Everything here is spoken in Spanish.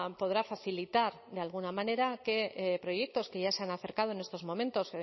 podrá facilitar de alguna manera que proyectos que ya se han acercado en estos momentos